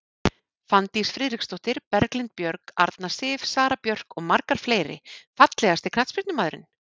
Fanndís Friðriksdóttir, Berglind Björg, Arna Sif, Sara Björk og margar fleiri Fallegasti knattspyrnumaðurinn?